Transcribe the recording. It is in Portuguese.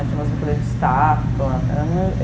Tinha umas brincadeiras de estátua.